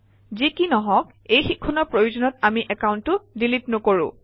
যি কি নহওক এই শিক্ষণৰ প্ৰয়োজনত আমি একাউণ্টটো ডিলিট নকৰোঁ